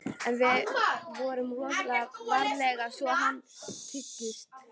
En förum rosalega varlega svo að hann styggist ekki.